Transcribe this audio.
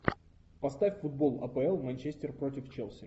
поставь футбол апл манчестер против челси